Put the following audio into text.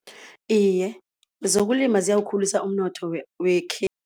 Iye, zokulima ziyawukhulisa umnotho